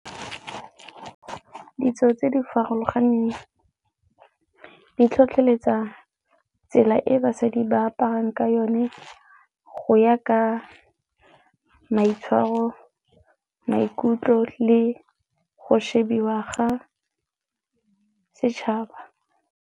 Ditso tse di farologaneng di tlhotlheletsa tsela e basadi ba aparang ka yone go ya ka maitshwaro, maikutlo le go shebiwa ga setšhaba.